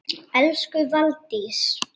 Elsku Valdís.